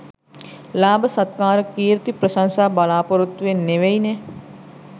ලාභ සත්කාර කීර්ති ප්‍රශංසා බලාපොරොත්තුවෙන් නෙවෙයිනෙ